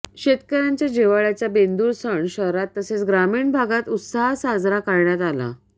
शेतकऱयांच्या जिव्हाळय़ाचा बेंदूर सण शहरात तसेच ग्रामीण भागात उत्साहात साजरा करण्यात आला